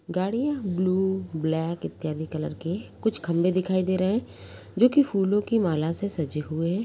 गाड़ियां blue black इत्यादि colour के। कुछ खम्बें दिखायी दे रहे हैं जो कि फूलों की माला से सजे हुए।